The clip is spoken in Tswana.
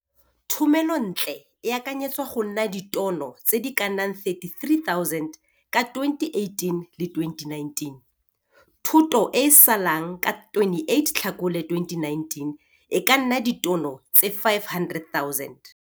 Thomelontle e akanyetswa go nna ditono tse di ka nnang 33 000 ka 2018-2019. Thuto e e salang ka 28 Tlhakole 2019 e ka nna ditono tse 500 000.